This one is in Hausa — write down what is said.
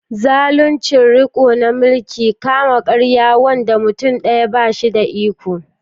zaluncin riko na mulkin kama karya, wanda mutum daya ba shi da iko.